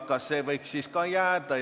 Kas see võiks siis sinna jäädagi?